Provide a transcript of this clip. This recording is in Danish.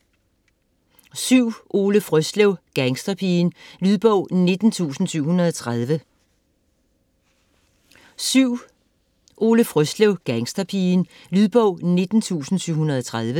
Frøslev, Ole: Gangsterpigen Lydbog 19730